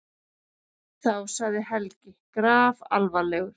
Þá sagði Helgi grafalvarlegur